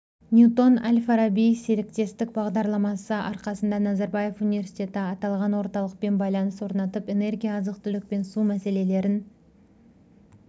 ньютон-әл-фараби серіктестік бағдарламасы арқасында назарбаев университеті аталған орталықпен байланыс орнатып энергия азық-түлік пен су мәселелерін